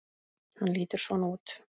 Hann lítur svona út